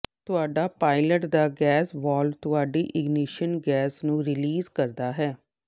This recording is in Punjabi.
ਤੁਹਾਡਾ ਪਾਇਲਟ ਦਾ ਗੈਸ ਵਾਲਵ ਤੁਹਾਡੀ ਇਗਨੀਸ਼ਨ ਗੈਸ ਨੂੰ ਰੀਲੀਜ਼ ਕਰਦਾ ਹੈ